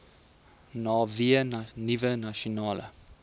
vanweë nuwe nasionale